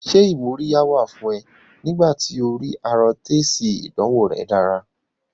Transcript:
Ṣé ìmúríyá wà fún ẹ̀ nígbà tí o rí arọ tó èsì ìdánwò rẹ̀ dára?